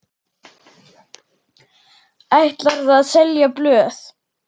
Ætlarðu að selja blöð?